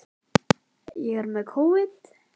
Á að fara í meira nám eftir stúdentsprófið?